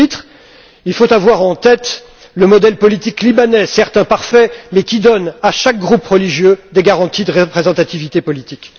Et à ce titre, il faut avoir en tête le modèle politique libanais, certes imparfait, mais qui donne à chaque groupe religieux des garanties de représentativité politique.